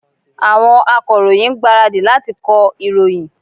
Àwọn Akọ̀ròyìn ń gbáradì láti kọ ìròyìn